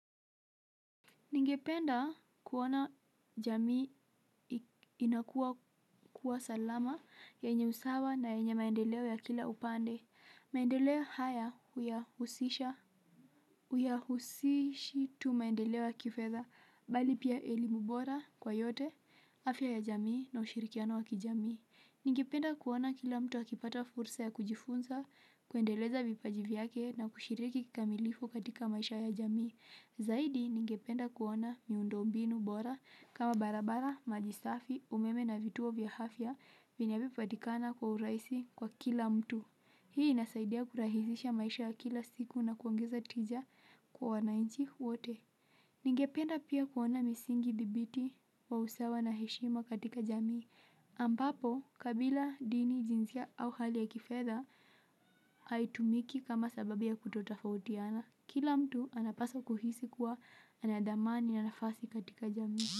Ningependa, kuona jamii inakua kuwa salama, yenye usawa na yenye maendeleo ya kila upande. Maendeleo haya huyahusisha tu maendeleo ya kifedha, bali pia elimu bora kwa yote, afya ya jamii na ushirikiano wa kijamii. Ningependa kuona kila mtu akipata fursa ya kujifunza, kuendeleza vipaji vyake na kushiriki kikamilifu katika maisha ya jamii. Zaidi ningependa kuona miundo mbinu bora kama barabara, maji safi, umeme na vituo vya afya vinavyopatikana kwa urahisi kwa kila mtu. Hii inasaidia kurahisisha maisha kila siku na kuongeza tija kwa wanainchi wote. Ningependa pia kuona misingi dhibiti wa usawa na heshima katika jamii. Ambapo, kabila dini jinsia au hali ya kifedha haitumiki kama sababu ya kutotofautiana. Kila mtu anapaswa kuhisi kuwa ana thamani na nafasi katika jamii.